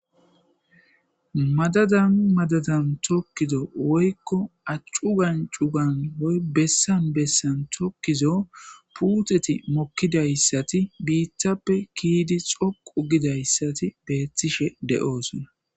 Madadan madadan tokido woyko cugan cugan woyko bessan bessan tokizo puteti mokidaysati bitta ke'idi dhoqu gizaysati betishe de'osona